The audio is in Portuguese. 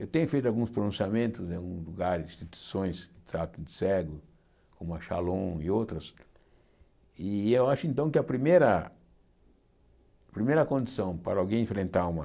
Eu tenho feito alguns pronunciamentos em alguns lugares, instituições que tratam de cego, como a Shalom e outras, e eu acho então que a primeira primeira condição para alguém enfrentar uma